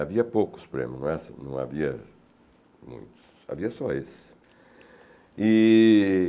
Havia poucos prêmio, no máximo... não havia muitos, havia só esses. E...